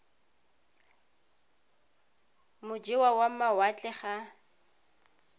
mo e wa mawatle ga